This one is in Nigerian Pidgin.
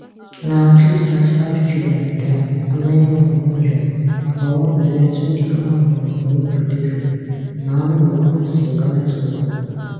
na at leastthirty-five children die and many more wunjurefor one event wey di former queen of ooni of ileife naomi ogunwusi organise for ibadan